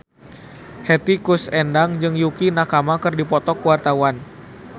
Hetty Koes Endang jeung Yukie Nakama keur dipoto ku wartawan